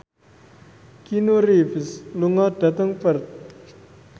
Keanu Reeves lunga dhateng Perth